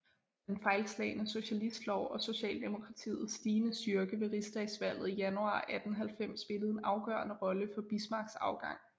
Den fejlslagne socialistlov og socialdemokratiets stigende styrke ved rigsdagsvalget i januar 1890 spillede en afgørende rolle for Bismarcks afgang